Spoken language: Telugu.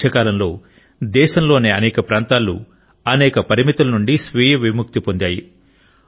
ఈ మధ్యకాలంలో దేశంలోని అనేక ప్రాంతాలు అనేక పరిమితుల నుండి స్వీయ విముక్తి పొందాయి